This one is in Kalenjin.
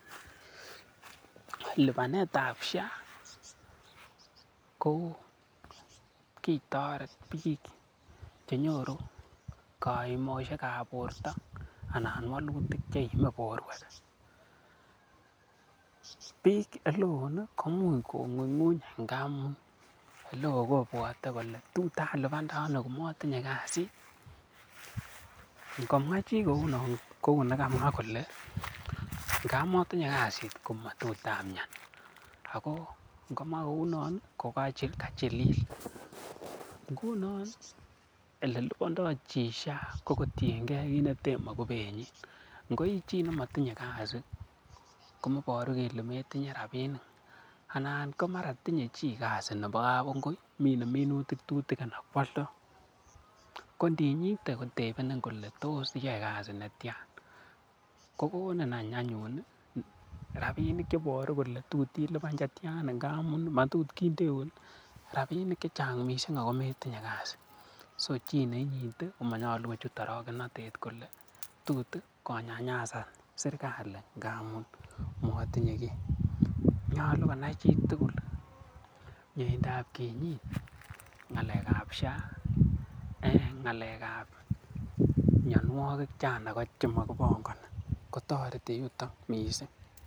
LIpanetab SHA ko kitoret biik che nyoru kaimoshek ab borto anan walutik che iime borwek. Biik ole woo koimuch ko ng'unyng'uny ngamun ole woo kobwote kole tot alipande ano komotinye kasit. Ngo mwa chi kounon kou nekamwa kole ngab motinye kasit komatot amian. Ago ngomwa kounon kogachilil. Ngunon ole lipando chi SHA kotienge ole ten mogubenyin. Ngo ii chi nematindoi kasit, komoboru kole metinye rabinik, anan ko mara tinye chi kasi nebo kabungui, mine minutik tutikin anan ko aldo. Ko ndinyite kotebenin kole tos iyoe kasit ne tyan? Kogonin anyun rabinik ch eiboru kole tot ilipan che tyan amun matot kindeun rabinik che chang mising ago metinye kasit. So chi ne inyitekomanyolu kochut orogenotet kole tut konyanyasan serkalit ngamun motinye kiy. Nyolu konai chitugul miendab kinyit ng'alekab SHA, amun ng'alekab mianwogik ko chang ago mokibongoni kotoreti yuton mising.